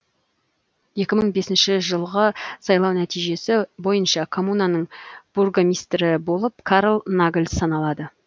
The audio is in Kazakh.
екі мың бесінші жылғы сайлау нәтижесі бойынша коммунаның бургомистрі болып карл нагль саналады